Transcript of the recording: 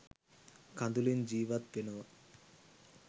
කඳුළින් ජීවත් වෙනව.